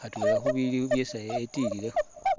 khatwela khubili isi etililekho